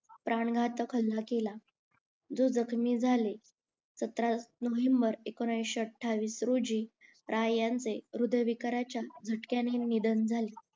प्राणघातक हल्ला केला जे जखमी झाले सातारा नोव्हेंबर एकोणीशे आठवीस रोजी राय यांचे हृदयविकाराच्या झटक्याने निधन झाले